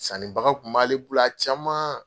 Sanibaga tun b'ale bolo a caman.